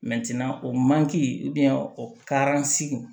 o manki